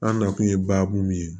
An nakun ye baabu min ye